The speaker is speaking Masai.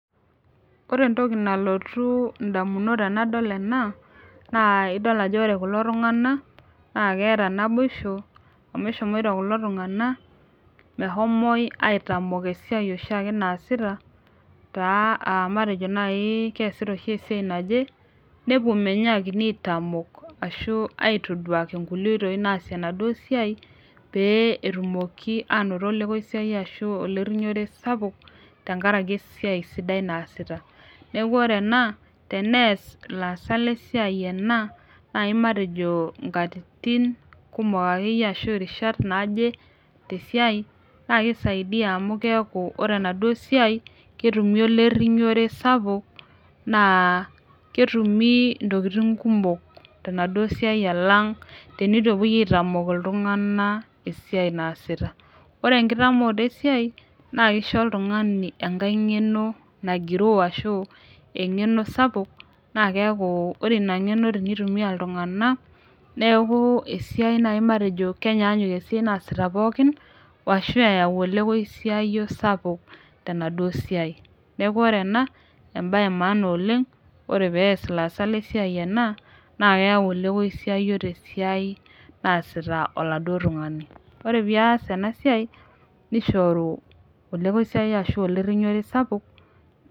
Ore entoki nalotu indamunot tenadol ena naa idol ajo ore kulo tung'anak naa keeta naboisho amu eshomoito kulo tung'anak mehomoi aitamok esiai oshiake naasita taa uh matejo naaji uh keesita oshi esiai naje nepuo menyakini aitamok ashu aitoduaki inkulie oitoi naasie enaduo siai pee etumoki anoto olekoisiayio ashu olerrinyore sapuk tenkarake esiai sidai naasita neeku ore ena tenees ilaasak lesiai ena naaji matejo inkatitin kumok akeyie ashu irishat naaje tesiai naa kisaidia amu keeku ore enaduo siai ketumi olerrinyore sapuk naa ketumi intokiting kumok tenaduo siai alang teneitu epuoi aitamok iltung'ana esiai naasita ore enkitamooto esiai naa kisho oltung'ani enkae ng'eno nagiroo ashu aeng'eno sapuk naa keeku ore ina ng'eno tenitumia iltung'ana neeku esiai naaji matejo kenyaanyuk esiai naasita pookin woashu eyau olekoisiayio sapuk tenaduo siai neku ore ena embaye e maana oleng ore pees ilaasak lesiai ena naa keyau olekoisiayio tesiai naasita oladuo tung'ani ore pias ena siai nishoru olekoisiayio ashu olerrinyore sapuk.